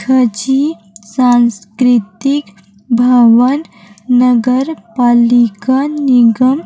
खांझी सांस्कृतिक भवन नगर पालिका निगम--